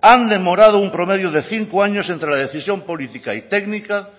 han demorado un promedio de cinco años entre la decisión política y técnica